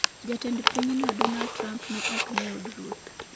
Jatend pinyno Donald Trump ne ok ni e od ruoth.